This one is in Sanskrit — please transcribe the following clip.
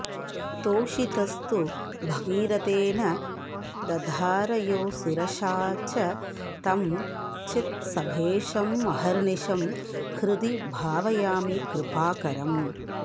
तोषितस्तु भगीरथेन दधार यो शिरसा च तं चित्सभेशमहर्निशं हृदि भावयामि कृपाकरम्